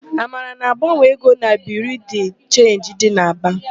Amara na-agbanwe ego na Biriu de Chenji dị n'Aba.